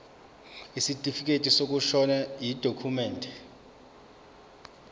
isitifikedi sokushona yidokhumende